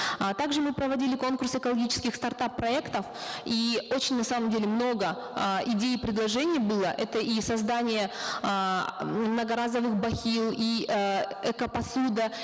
а также мы проводили конкурс экологических стартап проектов и очень на самом деле много э идей и предложений было это и создание эээ многоразовых бахил и э эко посуда